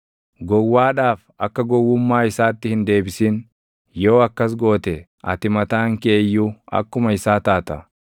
Gowwaadhaaf akka gowwummaa isaatti hin deebisin; yoo akkas goote ati mataan kee iyyuu akkuma isaa taata.